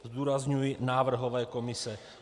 Zdůrazňuji návrhové komise.